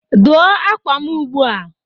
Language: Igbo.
Dịrị akwa m ugbu a!